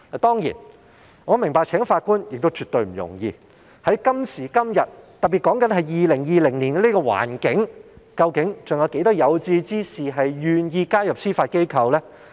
當然，我明白今時今日聘請法官絕不容易，特別是2020年這樣的環境下，究竟還有多少有志之士願意加入司法機構呢？